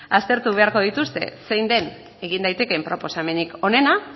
aztertu beharko dituzte zein den egin daitekeen proposamenik onena